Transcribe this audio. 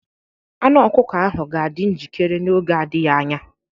Anụ ọkụkọ ahụ ga-adị njikere n'oge adịghị anya.